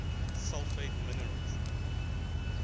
sulfate minerals